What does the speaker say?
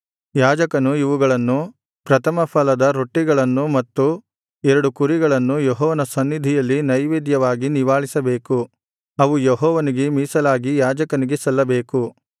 ಯಾಜಕನು ಇವುಗಳನ್ನು ಪ್ರಥಮಫಲದ ರೊಟ್ಟಿಗಳನ್ನು ಮತ್ತು ಎರಡು ಕುರಿಗಳನ್ನು ಯೆಹೋವನ ಸನ್ನಿಧಿಯಲ್ಲಿ ನೈವೇದ್ಯವಾಗಿ ನಿವಾಳಿಸಬೇಕು ಅವು ಯೆಹೋವನಿಗೆ ಮೀಸಲಾಗಿ ಯಾಜಕನಿಗೆ ಸಲ್ಲಬೇಕು